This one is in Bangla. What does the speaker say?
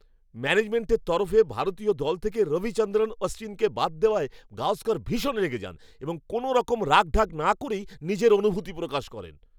ম্যানেজমেন্টের তরফে ভারতীয় দল থেকে রবিচন্দ্রন অশ্বিনকে বাদ দেওয়ায় গাওস্কর ভীষণ রেগে যান এবং কোনওরকম রাখঢাক না করেই নিজের অনুভূতি প্রকাশ করেন।